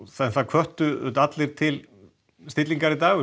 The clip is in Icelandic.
það hvöttu allir til stillingar í dag og